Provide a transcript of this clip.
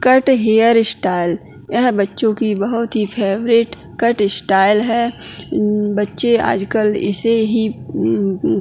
cut hair style यह बच्चों की बहोत ही फैवरेट कट स्टाइल है उ बच्चे आजकल इसे ही उ ऊ --